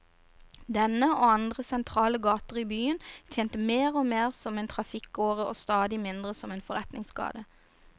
Denne, og andre sentrale gater i byen, tjente mer og mer som en trafikkåre og stadig mindre som forretningsgate.